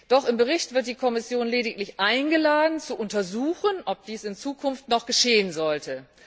Doch im Bericht wird die Kommission lediglich eingeladen, zu untersuchen, ob dies in Zukunft noch geschehen sollte.